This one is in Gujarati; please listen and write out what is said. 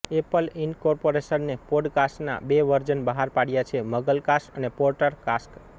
એપલ ઇન્કોર્પોરશને પોડકાસ્ટના બે વર્ઝન બહાર પાડ્યા છે મગલકાસ્ટ અને પોટરકાસ્ટ